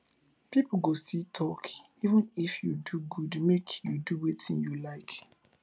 pipo go still tok even if you do good make you do wetin you like